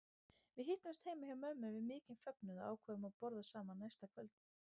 Við hittumst heima hjá mömmu við mikinn fögnuð og ákváðum að borða saman næsta kvöld.